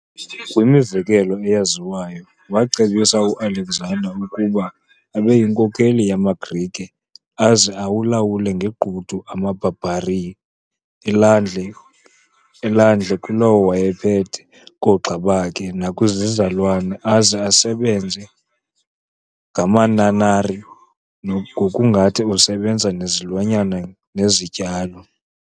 Kwimizekelo eyaziwayo, wacebisa uAlexander ukuba abeyinkokheli yamaGrike aze awalawule ngegqudu amabarbarini, elandle elandle kulowo wayephethe, koogxabakhe nakwizizalwana, aze asebenze ngamanarnarini ngokungathi usebenza nezilwanyana nezityalo.